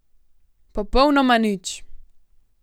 Popolnoma nič!